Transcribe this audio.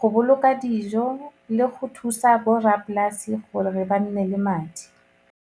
go boloka dijo le go thusa borrapolasi gore ba nne le madi.